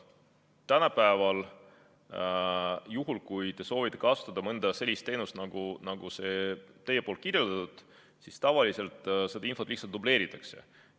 Tänapäeval, juhul kui te soovite kasutada mõnda sellist teenust, nagu on see teie kirjeldatud teenus, siis tavaliselt seda infot lihtsalt dubleeritakse.